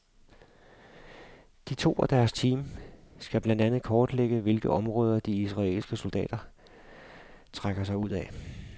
De to og deres team skal blandt andet kortlægge hvilke områder de israelske soldater trækker sig ud af.